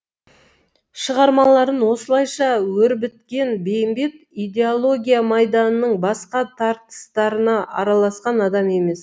шығармаларын осылайша өрбіткен бейімбет идеология майданының басқа тартыстарына араласқан адам емес